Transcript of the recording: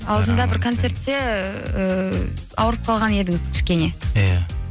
алдында бір концертте ііі ауырып қалған едіңіз кішкене иә